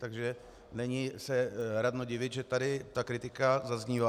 Takže není radno se divit, že tady ta kritika zaznívá.